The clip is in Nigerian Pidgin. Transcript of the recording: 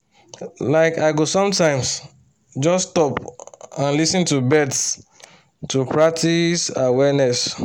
like i go sometimes just stop and lis ten to birds to practice awareness